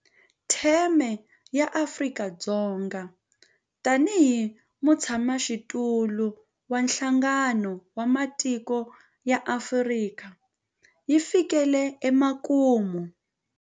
Theme ya Afrika-Dzonga tanihi mutshamaxitulu wa Nhlangano wa Matiko ya Afrika yi fikile emakumu.